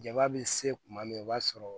Jaba be se kuma min na o b'a sɔrɔ